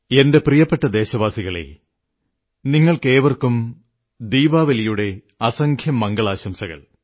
എന്റെ പ്രിയപ്പെട്ട ദേശവാസികളേ നിങ്ങൾക്കേവർക്കും ദീപാവലിയുടെ അസംഖ്യം മംഗളാശംസകൾ